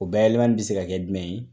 O bayɛlɛmali bɛ se ka kɛ jumɛn ye?